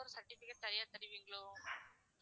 அதுக்கு ஒரு certificate தனியா தருவீங்களோ?